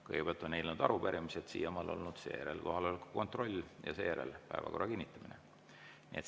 Kõigepealt on eelnõud ja arupärimised siiamaani olnud, seejärel kohaloleku kontroll ja seejärel päevakorra kinnitamine.